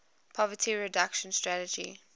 poverty reduction strategy